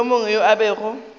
yo mongwe yo a bego